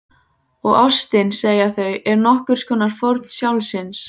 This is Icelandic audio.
Og ástin- segja þau- er nokkurs konar fórn sjálfsins.